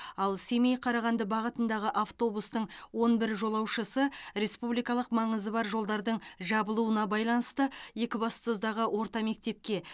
ал семей қарағанды бағытындағы автобустың он бір жолаушысы республикалық маңызы бар жолдардың жабылуына байланысты екібастұздағы орта мектепке